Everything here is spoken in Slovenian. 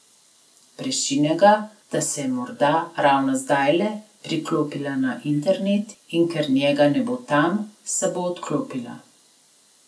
Prešine ga, da se je morda ravno zdajle priklopila na internet, in ker njega ne bo tam, se bo odklopila.